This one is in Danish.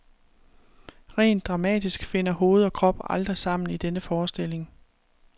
Rent dramatisk finder hoved og krop aldrig sammen i denne forestilling.